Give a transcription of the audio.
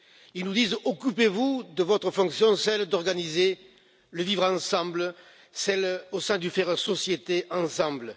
Ils nous disent occupez vous de votre fonction, celle d'organiser le vivre ensemble, celle de faire la société ensemble.